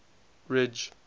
ridge